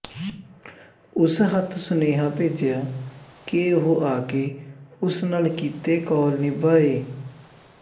ਉਸ ਹੱਥ ਸੁਨੇਹਾ ਭੇਜਿਆ ਕਿ ਉਹ ਆਕੇ ਉਸ ਨਾਲ ਕੀਤੇ ਕੌਲ ਨਿਭਾਏ